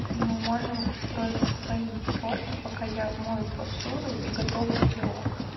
и мы можем устроить свои тёрки пока я мою посуду и готовлю пирог